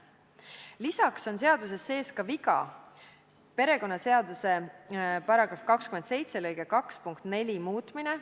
Lisaks on seaduses sees ka viga: perekonnaseaduse § 27 lõike 2 punkti 4 muutmine.